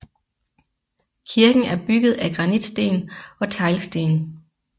Kirken er bygget af granitsten og teglsten